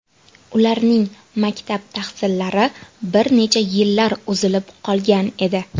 Ularning maktab tahsillari bir necha yillar uzilib qolgan edi.